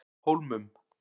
Hólmum